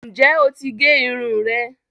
Ǹjẹ́ oti gé irun rẹ?